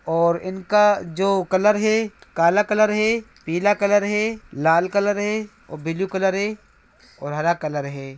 और इनका जो कलर है काला कलर है पीला कलर है लाल कलर है और ब्लू कलर है और हरा कलर है।